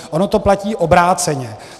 Ono to platí obráceně.